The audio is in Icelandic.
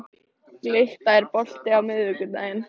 Glytta, er bolti á miðvikudaginn?